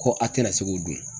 Ko a tɛna se k'o dun.